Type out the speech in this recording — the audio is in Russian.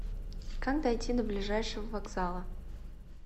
как дойти до ближайшего вокзала